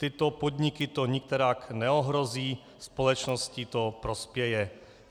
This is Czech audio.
Tyto podniky to nikterak neohrozí, společnosti to prospěje.